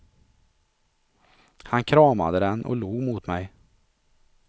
Han kramade den och log mot mig.